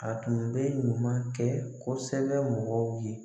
A tun bɛ ɲuman kɛ kosɛbɛ mɔgɔw ye.